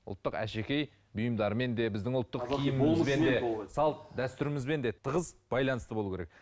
ұлттық әшекей бұйымдармен де біздің ұлттық киімімізбен де салт дәстүрімізбен де тығыз байланысты болу керек